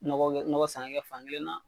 Nɔgɔ kɛ nɔgɔ san k'a kɛ fankelen na.